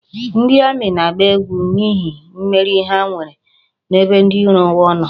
Ndi Ami na-agba egwu n'ihi mmeri ha nwere n'ebe ndi iro ha no